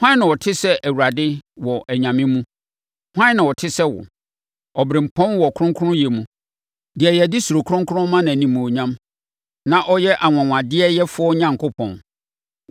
Hwan na ɔte sɛ Awurade wɔ anyame mu? Hwan na ɔte sɛ wo? Ɔberempɔn wɔ kronkronyɛ mu; deɛ yɛde surokronkron ma nʼanimuonyam, na ɔyɛ anwanwadeɛyɛfoɔ Onyankopɔn.